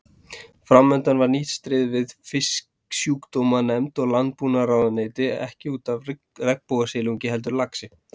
Framundan var nýtt stríð við Fisksjúkdómanefnd og Landbúnaðarráðuneyti ekki út af regnbogasilungi heldur laxi.